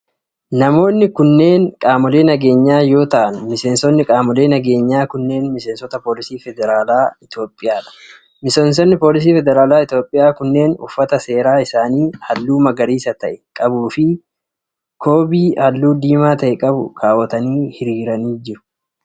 Namoonni kunneen qaamolee nageenyaa yoo ta'an, miseensonni qaamolee nageenyaa kunneen miseensota poolisii federaalaa Itoophiyaa dha. Miseensonni poolisii federaalaa Itoophiyaa kunneen, uffata seeraa isaanii haalluu magariisa ta'e qabuu fi koobii halluu diimaa ta'e qabu kaawwatanii hiriiranii jiru.